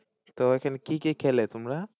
তো ওখানে কি কি খেলে তোমরা?